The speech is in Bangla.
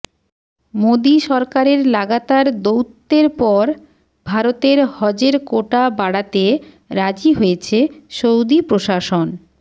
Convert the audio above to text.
মোদী সরকারের লাগাতার দৌত্যের পর ভারতের হজের কোটা বাড়াতে রাজি হয়েছে সৌদি প্রশাসন